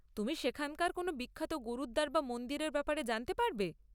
তুমি সেখানকার কোনও বিখ্যাত গুরুদ্বার বা মন্দিরের ব্যাপারে জানাতে পারবে?